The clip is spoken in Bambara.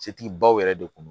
Setigi baw yɛrɛ de kun do